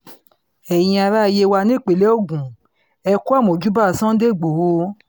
ẹ̀yin ará yewa nípínlẹ̀ ogun ẹ̀ kú àmọ̀júbà sunday igbodò